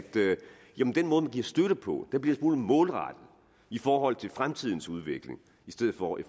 den måde man giver støtte på bliver en smule målrettet i forhold til fremtidens udvikling i stedet for i